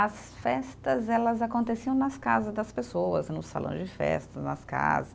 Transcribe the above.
As festas, elas aconteciam nas casas das pessoas, no salão de festa, nas casas.